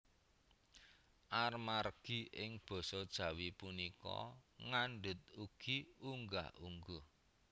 Amargi ing Basa Jawi punika ngandhut ugi unggah ungguh